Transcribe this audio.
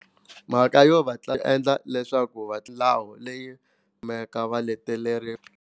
Mhaka yo va endla leswaku va milawu leyi kumeka va leteriwa.